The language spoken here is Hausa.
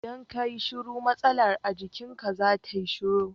Idan ka yi shiru matsalar a jikinka za ta yi shiru.